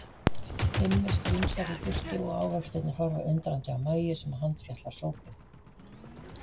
Immi strunsar í burtu og ávextirnir horfa undrandi á Mæju sem handfjatlar sópinn.